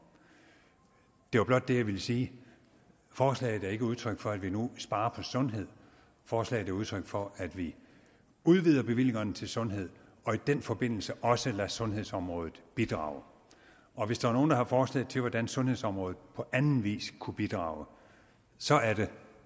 det var blot det jeg ville sige forslaget er ikke udtryk for at vi nu sparer på sundhed forslaget er udtryk for at vi udvider bevillingerne til sundhed og i den forbindelse også lader sundhedsområdet bidrage og hvis der er nogen der har forslag til hvordan sundhedsområdet på anden vis kunne bidrage så er det